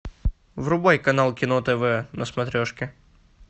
врубай канал кино тв на смотрешке